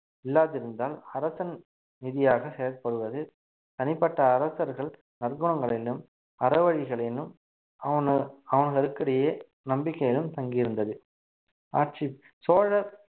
இல்லாதிருந்தால் அரசன் நிதியாக செயல்படுவது தனிப்பட்ட அரசர்கள் நற்குணங்களிலும் அறவழிகளிலும் அவனு~ நம்பிக்கையிலும் தங்கி இருந்தது ஆட்சி சோழ